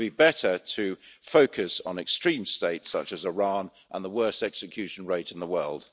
It would be better to focus on extreme states such as Iran and the worst execution rate in the world.